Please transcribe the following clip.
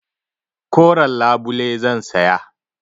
Koren labule zan saya.